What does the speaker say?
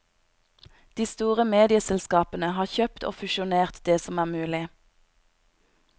De store medieselskapene har kjøpt og fusjonert det som er mulig.